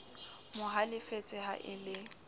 mo halefetse ha e le